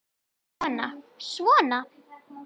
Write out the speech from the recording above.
Kona: Svona?